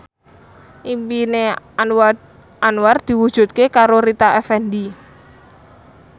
impine Anwar diwujudke karo Rita Effendy